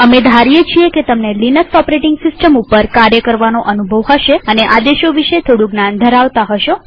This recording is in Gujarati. અમે ધારીએ છીએ કે તમને લિનક્સ ઓપરેટીંગ સિસ્ટમ ઉપર કાર્ય કરવાનો અનુભવ હશે અને આદેશો વિશે થોડું જ્ઞાન ધરાવતા હશો